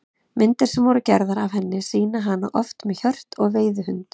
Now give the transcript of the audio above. Myndir sem voru gerðar af henni sýna hana oft með hjört og veiðihund.